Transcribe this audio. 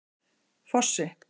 Fossi